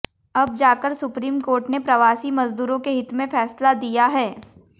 अब जाकर supreme court ने प्रवासी मजदूरों के हित में फैसला दिया है